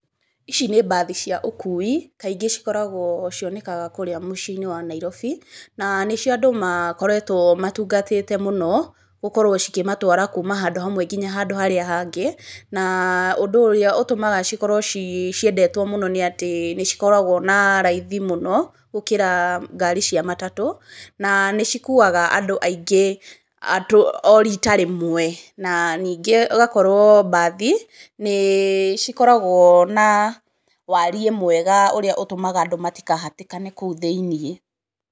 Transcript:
Ici nĩ mbathi cia ũkui, kaingĩ cikoragwo cionekaga kũũrĩa mũciĩ-inĩ wa Nairobi. Na nĩ cio andũ makoragwo matungatĩte mũno gũkorwo cikĩmatwara kuuma handũ hamwe nginya handũ harĩa hangĩ, na ũndũ ũrĩa ũtũmaga cikorwo ciendetwo mũno nĩ atĩ nĩ cikoragwo na raithi mũno gũkĩra ngari cua matatũ, na nĩ cikuaga andũ aingĩ o rita rĩmwe. Na ningĩ ũgakorwo mbathi, nĩ cikoragwo na waariĩ mwega ũrĩa ũtũmaga andũ matikahatĩkane kũu thĩiniĩ.